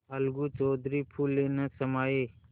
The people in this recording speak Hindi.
अलगू चौधरी फूले न समाये